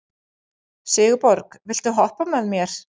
Sigurborg, viltu hoppa með mér?